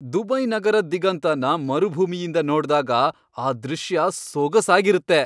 Dubai ನಗರದ್ ದಿಗಂತನ ಮರುಭೂಮಿಯಿಂದ ನೋಡ್ದಾಗ ಆ ದೃಶ್ಯ ಸೊಗಸಾಗಿರತ್ತೆ.